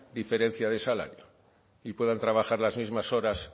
diferencia de salario y puedan trabajar las mismas horas